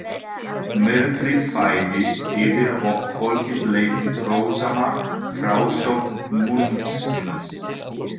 Myrkrið færðist yfir og kvöldið leið við rósama frásögn munksins.